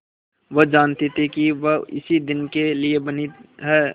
वह जानती थी कि वह इसी दिन के लिए बनी है